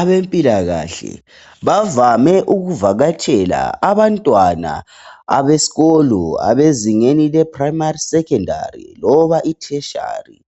Abampilakahle bavame ukuvakatshela abantwana abesikolo abezingeni leprimary, secondary letheshiyari